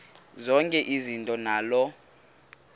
zonke izinto zaloo